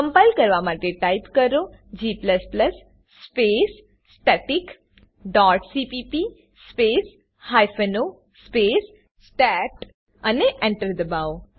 compile કરવા type કરો g space static dot CPP space hyphen O space state અને Enter દબાવો